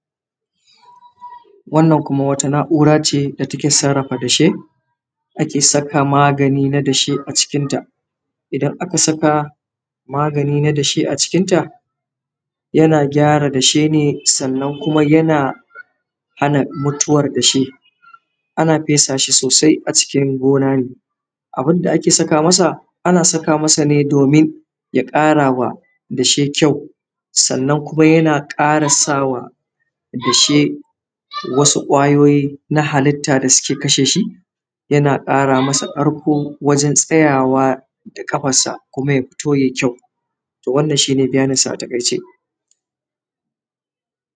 Wannan kuma wata na’ura ce da take sarrafa dashe, ake saka magani na dashe a cikinta. Idan aka saka magani na dashe a cikinta yana gyara dashe ne sannan kuma yana hana mutuwar dashe. Ana fesa shi sosai a cikin gona ne ,abun da ake saka masa. Ana saka masa ne domin ya ƙara wa dashe ƙyau sannan kuma yana ƙara sa wa dashe wasu ƙwayoyi na halitta da suke kashe shi. yana ƙara masa ƙarko wajen tsayawa da kafarsa kuma ya fito ya yi kyau, wannan shi ne bayaninsa a taƙaice